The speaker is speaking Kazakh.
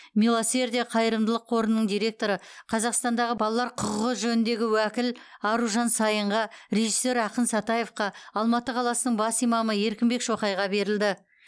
милосердие қайырымдылық қорының директоры қазақстандағы балалар құқығы жөніндегі уәкіл аружан саинға режиссер ақан сатаевқа алматы қаласының бас имамы еркінбек шоқайға берілді